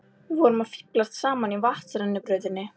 Við vorum að fíflast saman í vatnsrennibrautinni!